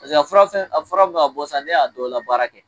Paseke a fura fɛn min a fura min mɛ ka bɔ sisan, ne y'a dɔ labaara kɛ